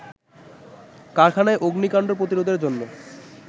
কারখানায় অগ্নিকাণ্ড প্রতিরোধের জন্য